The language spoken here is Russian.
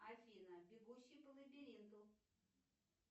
афина бегущий по лабиринту